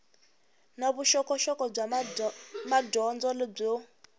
na vuxokoxoko bya madyondza byo